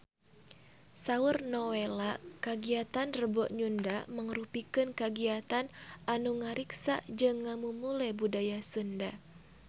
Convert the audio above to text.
Saur Nowela kagiatan Rebo Nyunda mangrupikeun kagiatan anu ngariksa jeung ngamumule budaya Sunda